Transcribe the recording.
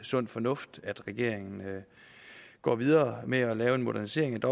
sund fornuft at regeringen går videre med at lave en modernisering